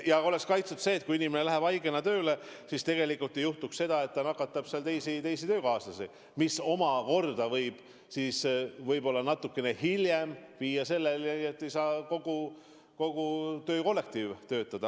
Ei tohi juhtuda, et inimene läheb haigena tööle ja nakatab töökaaslasi, mis omakorda võib natukene hiljem viia selleni, et ei saa kogu töökollektiiv töötada.